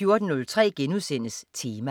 14.03 Tema*